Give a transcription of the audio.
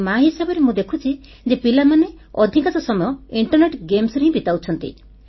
ଜଣେ ମା ହିସାବରେ ମୁଁ ଦେଖୁଛି ଯେ ପିଲାମାନେ ଅଧିକାଂଶ ସମୟ ଇଣ୍ଟରନେଟ ଗେମ୍ସ ବା ଖେଳରେ ହିଁ ବିତାଉଛନ୍ତି